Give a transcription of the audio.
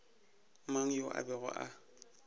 mang yo a bego a